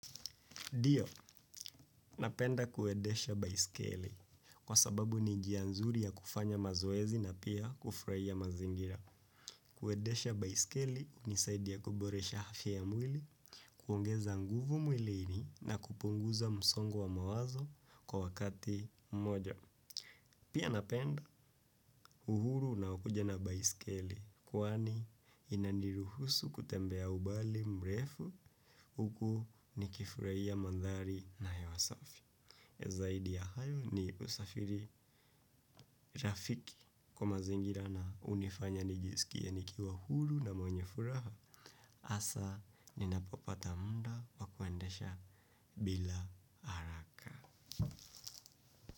Ndio, napenda kuendesha baiskeli kwa sababu ni njia nzuri ya kufanya mazoezi na pia kufurahia mazingira. Kuendesha baiskeli ni zaidi ya kuboresha afya ya mwili, kuongeza nguvu mwilini na kupunguza msongo wa mawazo kwa wakati mmoja. Pia napenda uhuru unaokuja na baiskeli kwani inaniruhusu kutembea umbali mrefu huku niki furahia mandhari na hewa safi. Zaidi ya hayo ni usafiri rafiki kwa mazingira na hunifanya nijisikie nikiwa huru na mwenye furaha hasa ninapopata muda wa kuendesha bila haraka.